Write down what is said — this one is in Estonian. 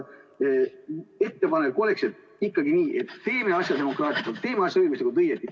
Ettepanek oleks ikkagi, et teeme asja demokraatlikult, teeme asja õiguslikult õigesti.